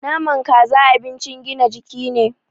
Naman Kaza abincin gina jiki ne